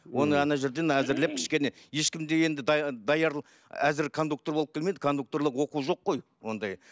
оны ана жерден әзірлеп кішкене ешкім де енді даяр әзір кондуктор болып келмейді кондукторлық оқу жоқ қой ондай